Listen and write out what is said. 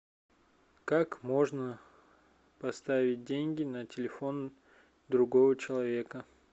как можно поставить деньги на телефон другого человека